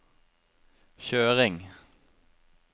kjøring